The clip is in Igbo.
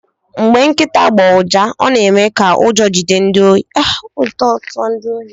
Mgbe nkịta gbụọ ụja ọ na-eme ka ụjọ tụọ ndị ohi.